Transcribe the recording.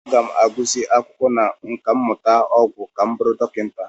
Aga m agụsị akwụkwọ na nkà mmụta ọgwụ ka m bụrụ dọkịta.